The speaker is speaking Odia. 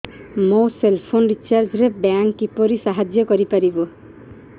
ମୋ ସେଲ୍ ଫୋନ୍ ରିଚାର୍ଜ ରେ ବ୍ୟାଙ୍କ୍ କିପରି ସାହାଯ୍ୟ କରିପାରିବ